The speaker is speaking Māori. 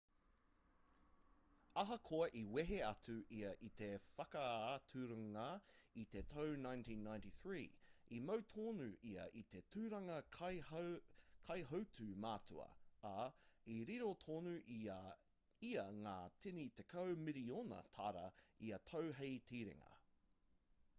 ahakoa i wehe atu ia i te whakaaturanga i te tau 1993 i mau tonu ia i te tūranga kaihautū matua ā i riro tonu i a ia ngā tini tekau miriona tāra ia tau hei tiringa